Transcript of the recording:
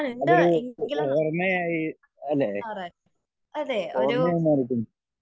അതൊരു ഓർമ ആയി അല്ലെ ഓർമ